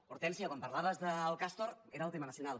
hortènsia quan parlaves del castor era el tema nacional